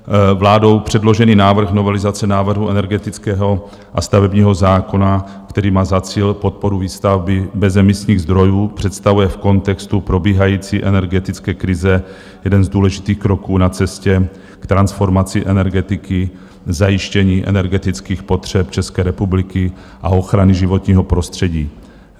Vládou předložený návrh novelizace návrhu energetického a stavebního zákona, který má za cíl podporu výstavby bezemisních zdrojů, představuje v kontextu probíhající energetické krize jeden z důležitých kroků na cestě k transformaci energetiky, zajištění energetických potřeb České republiky a ochrany životního prostředí.